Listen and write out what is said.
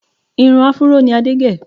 Irun áfúró ni Adé gẹ̀